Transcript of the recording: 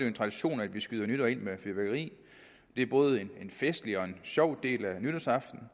en tradition at vi skyder nytåret ind med fyrværkeri det er både en festlig og en sjov del af nytårsaften